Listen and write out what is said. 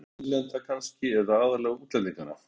Edda: Bæði innlendra kannski, eða aðallega útlendinganna?